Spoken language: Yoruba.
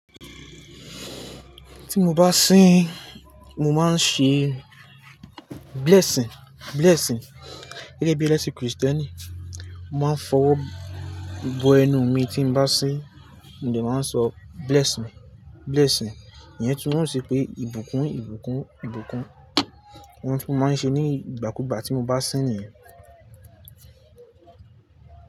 Tí mo bá sín mo máa ń ṣe blessing, blessing. Kiló bí ẹlẹ́sìn Kristẹni. Mo máa ń fọwọ́ bo ẹnu mi tí n bá sín, mo dẹ̀ máa ń sọ bless me, blessing. Ìyẹn tún ó ṣe pé ìbùkún, ìbùkún, ìbùkún. Ohun tí mo máa ń ṣe ní ìgbàkúùgbà tí mo bá sín nìyẹn.